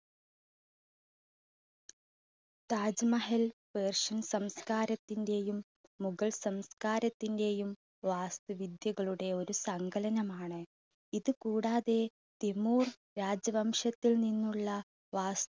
Taj Mahal persian സംസ്കാരത്തിന്റെയും മുഗൾ സംസ്കാരത്തിന്റെയും വാസ്തുവിദ്യകളുടെ ഒരു സങ്കലനമാണ് ഇതുകൂടാതെ തിമൂർ രാജവംശത്തിൽ നിന്നുള്ള വാ~